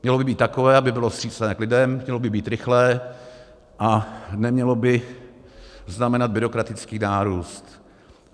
Mělo by být takové, aby bylo vstřícné k lidem, mělo by být rychlé a nemělo by znamenat byrokratický nárůst.